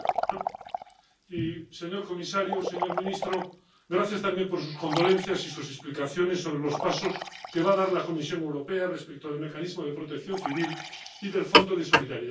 Señora presidenta, señor comisario, señor ministro, gracias también por sus condolencias y sus explicaciones sobre los pasos que va a dar la Comisión Europea respecto del mecanismo de protección civil y del Fondo de Solidaridad.